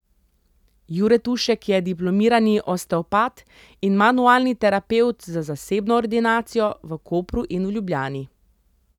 Jure Tušek je diplomirani osteopat in manualni terapevt z zasebno ordinacijo v Kopru in v Ljubljani.